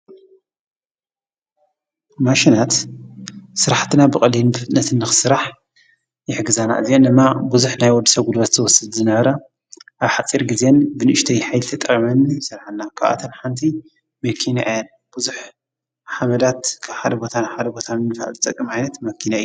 ማሽናት ሥራሕትና ብቕሊን ፍትነትን ኽሥራሕ የሕግዛና እዚን እማ ብዙኅ ናይወድ ሰጕድበት ዝተወስት ዝነረ ኣብ ሓጺር ጊዜን ብንእሽተይ ኃይቲ ጠመን ሠልኃና ኽኣተን ሓንቲይ ምኪንየን ብዙኅ ሓመዳት ሓደ ቦታን ሓደ ቦታን እንፈዕጸቀ ማይነት መኪነ ዩ።